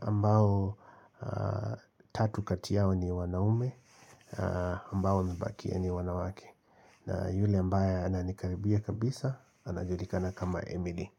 Ambao tatu kati yao ni wanaume. Ambao wamebakia ni wanawake. Na yule ambaye ananikaribia kabisa, anajulikana kama Emily.